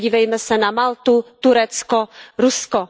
Podívejme se na Maltu, Turecko, Rusko.